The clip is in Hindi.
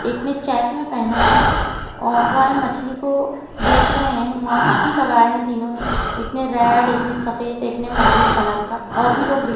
एक ने चेक में पहना है और वह मछली को बेच रहे हैं। माक्स भी लगाए हैं तीनों ने। एक ने रेड एक ने सफ़ेद एक महरून कलर का और भी लोग देख --